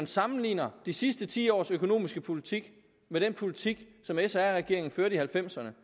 sammenligner de sidste ti års økonomiske politik med den politik som sr regeringen førte i halvfemserne